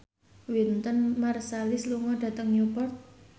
Wynton Marsalis lunga dhateng Newport